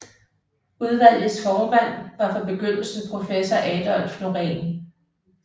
Udvalgets formand var fra begyndelsen professor Adolf Noreen